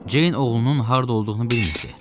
Ceyn oğlunun harda olduğunu bilmirdi.